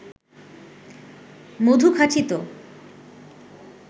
মধু খাঁটি তো